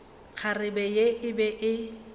kgarebe ye e be e